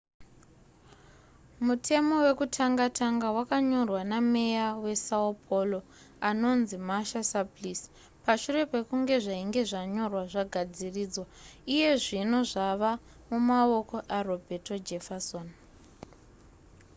mutemo wekutanga tanga wakanyorwa nameya wesão paulo anonzi marta suplicy. pashure pekunge zvainge zvanyorwa zvagadziridzwa iye zvino zvava mumaoko aroberto jefferson